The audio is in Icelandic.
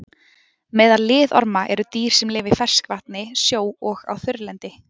Meðal liðorma eru dýr sem lifa í ferskvatni, sjó og á þurrlendi.